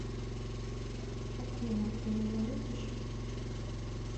афина ты меня видишь